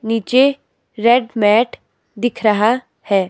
नीचे red mat दिख रहा है।